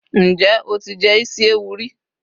njé o ti jé isi ẹwù ri